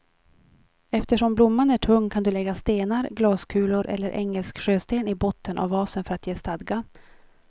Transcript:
Eftersom blomman är tung kan du lägga stenar, glaskulor eller engelsk sjösten i botten av vasen för att ge stadga.